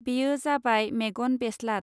बेयो जाबाय मेगन बेस्लाद.